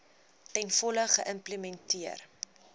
ten volle geïmplementeer